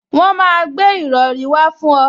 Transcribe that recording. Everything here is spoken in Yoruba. Wọn máa gbé ìrọrí wá fún ọ